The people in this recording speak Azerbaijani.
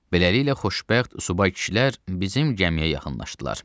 Beləliklə xoşbəxt subay kişilər bizim gəmiyə yaxınlaşdılar.